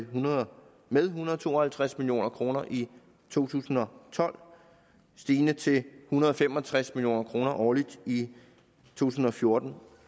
videre med en hundrede og to og halvtreds million kroner i to tusind og tolv stigende til en hundrede og fem og tres million kroner årligt i to tusind og fjorten